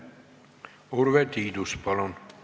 Urve Tiidus, palun!